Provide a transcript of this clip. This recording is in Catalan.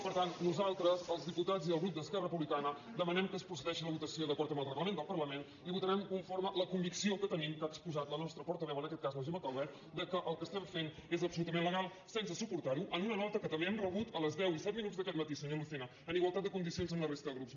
per tant nosaltres els diputats i el grup d’esquerra republicana demanem que es procedeixi a la votació d’acord amb el reglament del parlament i votarem conforme la convicció que tenim que ha exposat la nostra portaveu en aquest cas la gemma calvet que el que estem fent és absolutament legal sense suportarho en una nota que també hem rebut a les deu i set minuts d’aquest matí senyor lucena en igualtats de condicions amb la resta de grups